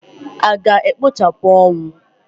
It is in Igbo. A ga-ekpochapụ ọnwụ?